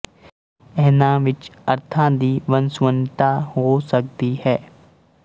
ਇਹਨਾਂ ਵਿੱਚ ਅਰਥਾਂ ਦੀ ਵੰਨਸੁਵੰਨਤਾ ਹੋ ਸਕਦੀ ਹੈ